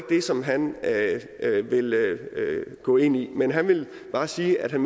det som han vil gå ind i men han vil bare sige at han